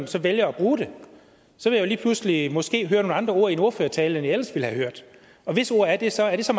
så vælger at bruge det så vil jeg lige pludselig måske høre nogle andre ord i en ordførertale end jeg ellers ville have hørt og hvis ord er det så er det så